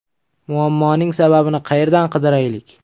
Muammoning sababini qayerdan qidiraylik?